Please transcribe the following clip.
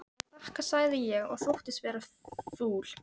Ég þakka sagði ég og þóttist vera fúl.